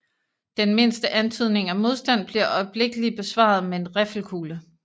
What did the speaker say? Den mindste antydning af modstand bliver øjeblikkelig besvaret med en riffelkugle